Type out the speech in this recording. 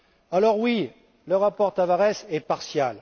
Alors, oui, le rapport Tavares est partial.